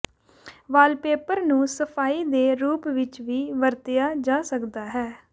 wallpaper ਨੂੰ ਸਫਾਈ ਦੇ ਰੂਪ ਵਿੱਚ ਵੀ ਵਰਤਿਆ ਜਾ ਸਕਦਾ ਹੈ